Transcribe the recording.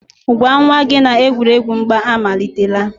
gwa nwa gị na-egwuregwu mgba amalitela.